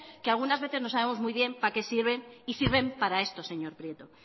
que algunas veces no sabemos muy bien para qué sirven y sirven para esto señor prieto